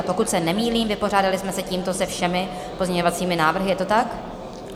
A pokud se nemýlím, vypořádali jsme se tímto se všemi pozměňovacími návrhy, je to tak?